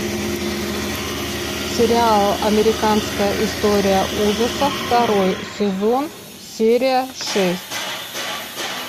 сериал американская история ужасов второй сезон серия шесть